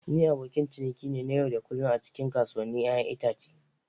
Ni abokin ciniki ne na yau da kullun a cikin kasuwannin 'ya'yan itace.